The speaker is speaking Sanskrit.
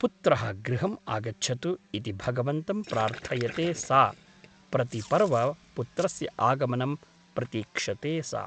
पुत्रः गृहम् आगच्छतु ' इति भगवन्तं प्रार्थयते सा प्रतिपर्व पुत्रस्य आगमनं प्रतीक्षते सा ।